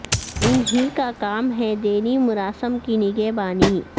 ان ہی کا کام ہے دینی مراسم کی نگہبانی